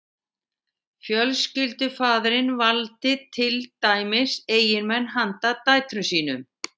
fjölskyldufaðirinn valdi til dæmis eiginmenn handa dætrum sínum